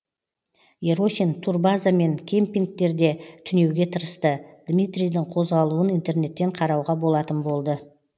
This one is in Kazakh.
ерохин турбаза мен кемпингтерде түнеуге тырысты дмитрийдің қозғалуын интернеттен қарауға болатын болды